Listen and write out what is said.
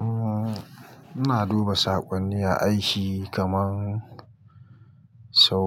Umm, ina duba saƙonni a aiki kaman sau